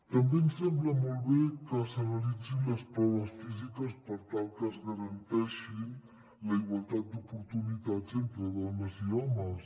també ens sembla molt bé que s’analitzin les proves físiques per tal que es ga·ranteixi la igualtat d’oportunitats entre dones i homes